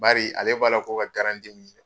Bari ale b'a la ko ka garanti minɛ.